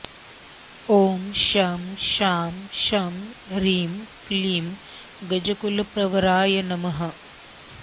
ॐ शं शां षं ह्रीं क्लीं गजकुलप्रवराय नमः